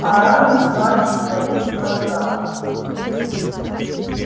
орали плач на весь квартал